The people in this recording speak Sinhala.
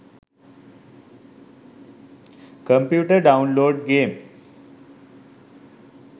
computer download game